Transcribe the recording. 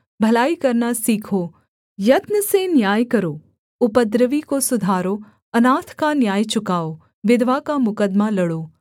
भलाई करना सीखो यत्न से न्याय करो उपद्रवी को सुधारो अनाथ का न्याय चुकाओ विधवा का मुकद्दमा लड़ो